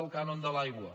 el cànon de l’aigua